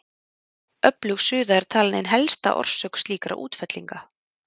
Öflug suða er talin ein helsta orsök slíkra útfellinga.